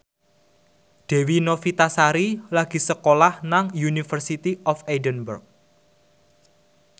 Dewi Novitasari lagi sekolah nang University of Edinburgh